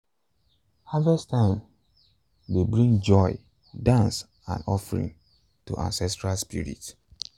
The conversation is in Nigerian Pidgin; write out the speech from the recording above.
harvest time dey bring joy dance and offering to ancestral spirit.